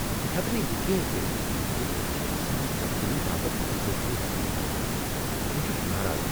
بہٕ ہیٚکہٕ نہٕ یقین کٔرتھ ز تُہۍ چُھو آسان تبدیلی باپت اضٲفی رقم ہیوان ۔ بہٕ چُھس ناراض۔